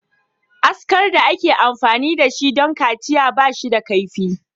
Askar da ake amfani da shi don kaciya ba shi da kaifi.